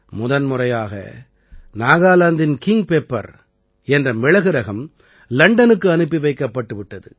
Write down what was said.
முதன்முறையாக நாகாலாந்தின் king pepper என்ற மிளகு ரகம் லண்டனுக்கு அனுப்பி வைக்கப்பட்டு விட்டது